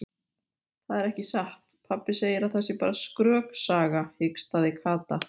Það er ekki satt, pabbi segir að það sé bara skröksaga hikstaði Kata.